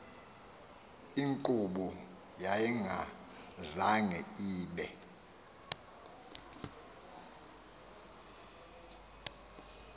inkqubo yayingazange ibe